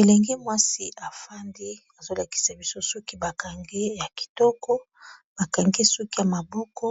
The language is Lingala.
elengi mwasi afandi azolakisa biso suki bakangi ya kitoko bakangi suki ya maboko